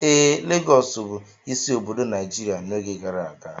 Ee, Lagọọsù bụ isi obodo Nigeria n'oge gara aga